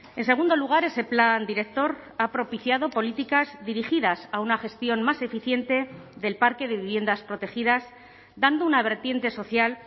en segundo lugar ese plan director ha propiciado políticas dirigidas a una gestión más eficiente del parque de viviendas protegidas dando una vertiente social